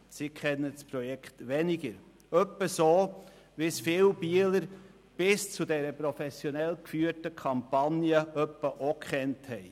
Sie kennen das Projekt weniger, nämlich ungefähr so, wie es viele Bieler bis zu dieser professionell geführten Kampagne auch gekannt haben.